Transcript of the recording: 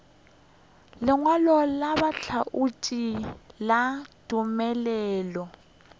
lengwalo la bohlatse la tumelelo